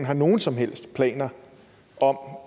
har nogen som helst planer om